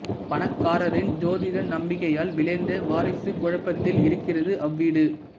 பணக்காரரின் ஜோதிட நம்பிக்கையால் விளைந்த வாரிசுக் குழப்பத்தில் இருக்கிறது அவ்வீடு